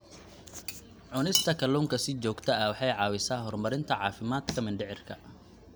Cunista kalluunka si joogto ah waxay caawisaa horumarinta caafimaadka mindhicirka.